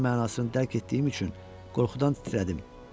Mən mənasını dərk etdiyim üçün qorxudan titrədim.